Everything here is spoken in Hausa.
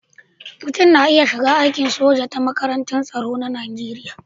Mutum na iya shiga aikin soja ta makarantar tsaro ta Najeriya.